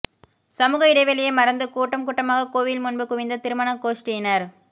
சமூக இடைவெளியை மறந்து கூட்டம் கூட்டமாக கோவில் முன்பு குவிந்த திருமண கோஷ்டியினர்